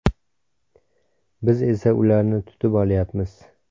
Biz esa ularni tutib olyapmiz.